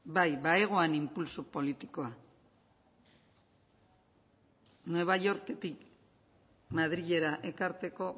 bai bazegoan inpultso politikoa new yorketik madrilera ekartzeko